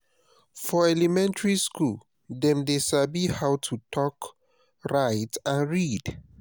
for elementary school dem de sabi how to talk write and read